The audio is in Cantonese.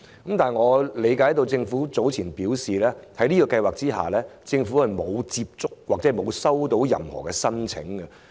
但是，據我了解，政府早前表示，在這項計劃下，並沒有接獲任何申請。